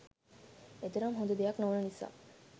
එතරම් හොඳ දෙයක් නොවන නිසා